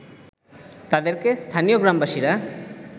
তাদেরকে স্থানীয় গ্রামবাসীরা